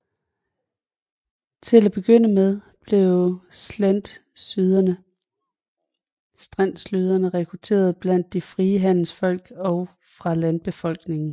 Til at begynde med blev streltsyerne rekrutteret blandt de frie handelsfolk og fra landbefolkningen